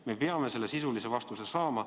Me peame selle sisulise vastuse saama.